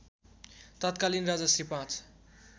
तत्कालीन राजा श्री ५